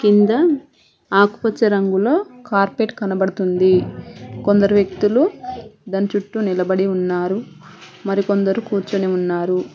కింద ఆకుపచ్చ రంగులో కార్పెట్ కనబడుతుంది కొందరు వ్యక్తులు దాని చుట్టూ నిలబడి ఉన్నారు మరికొందరు కూర్చొని ఉన్నారు.